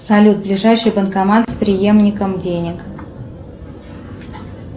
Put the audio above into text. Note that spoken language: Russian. салют ближайший банкомат с приемником денег